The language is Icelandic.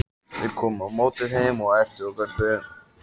Þeir komu á móti þeim og æptu og görguðu.